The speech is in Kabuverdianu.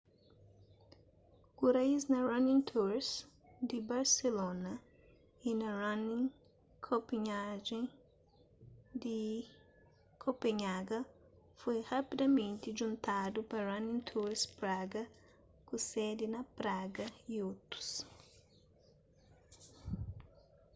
ku raíz na running tours di barselona y na running copenhagen di copenhaga foi rapidamenti djuntadu pa running tours praga ku sedi na praga y otus